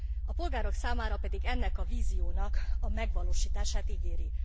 A polgárok számára pedig ennek a víziónak a megvalósítását ígéri.